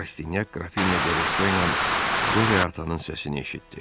Rastinyak Qrafinya de Resto ilə Qoreatanın səsini eşitdi.